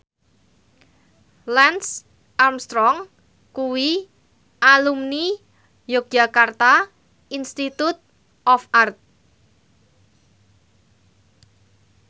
Lance Armstrong kuwi alumni Yogyakarta Institute of Art